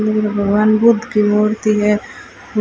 भगवान बुद्ध की मूर्ति है।